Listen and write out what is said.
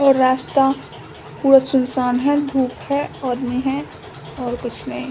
ये रास्ता पूरा सुनसान है धूप है आदमी है और कुछ नहीं।